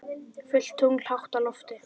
Fullt tungl hátt á lofti.